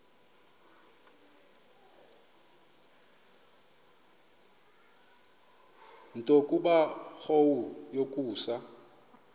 nto kubarrow yokusa